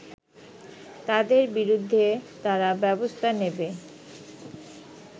তাদের বিরুদ্ধে তারা ব্যবস্থা নেবে